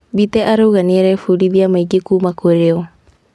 Mbite arauga nĩarebundithia maingĩ kuuma kũrĩo.